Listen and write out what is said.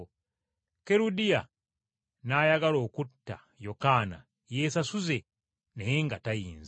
Kerudiya n’ayagala okutta Yokaana yeesasuze, naye nga tayinza.